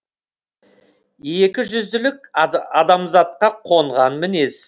екіжүзділік адамзатқа қонған мінез